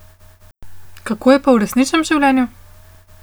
Kako je pa v resničnem življenju?